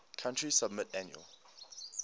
country submit annual